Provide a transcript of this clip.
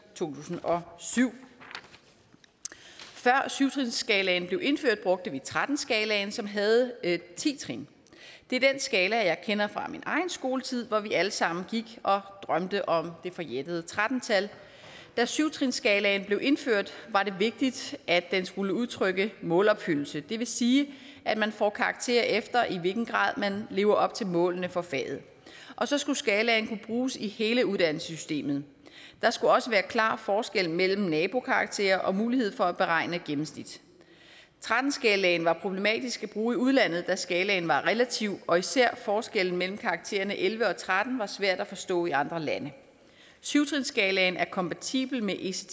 tusind og syv før syv trinsskalaen blev indført brugte vi tretten skalaen som havde ti trin det er den skala jeg kender fra min egen skoletid hvor vi alle sammen gik og drømte om det forjættede tretten tal da syv trinsskalaen blev indført var det vigtigt at den skulle udtrykke målopfyldelse det vil sige at man får karakterer efter i hvilken grad man lever op til målene for faget og så skulle skalaen bruges i hele uddannelsessystemet der skulle også være klare forskelle mellem nabokarakterer og mulighed for at beregne gennemsnit tretten skalaen var problematisk at bruge i udlandet da skalaen var relativ og især forskellen mellem karaktererne elleve og tretten var svær at forstå i andre lande syv trinsskalaen er kompatibel med ects